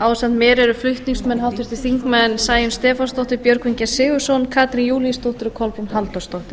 ásamt mér eru flutningsmenn háttvirtir þingmenn sæunn stefánsdóttir björgvin g sigurðsson katrín júlíusdóttir og kolbrún halldórsdóttir